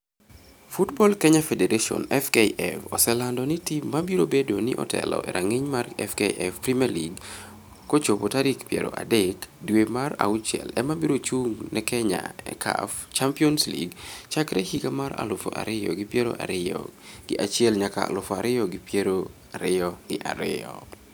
Football Kenya Federation (FKF) oselando ni tim ma biro bedo ni otelo e rang'iny mar FKF Premier League kochopo tarik piero adek dwe mar auchiel ema biro chung' ne Kenya e CAF Champions League chakre higa mar aluf ariyo gi piero ariyo gi achiel nyaka aluf ariyo gi piero ariyo gi ariyo.